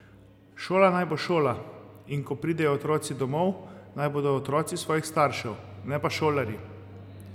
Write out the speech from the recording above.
Šola naj bo šola, in ko pridejo otroci domov, naj bodo otroci svojih staršev, ne pa šolarji.